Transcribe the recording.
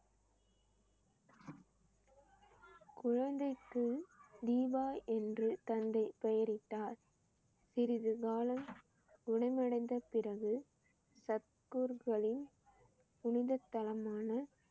குழந்தைக்கு தீபா என்று தந்தை பெயரிட்டார். சிறிது காலம் குணமடைந்த பிறகு சத்குருக்களின் புனிதத்தலமான